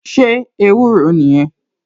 Ṣé ewúro nìyẹn?